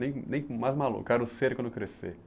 Nem nem por mais maluco, quero ser quando crescer.